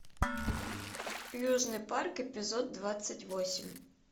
южный парк эпизод двадцать восемь